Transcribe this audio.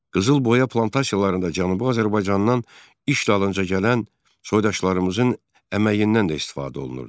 Qızılboya plantasiyalarında Cənubi Azərbaycandan iş dalınca gələn soydaşlarımızın əməyindən də istifadə olunurdu.